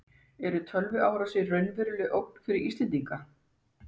En eru tölvuárásir raunveruleg ógn fyrir Íslendinga?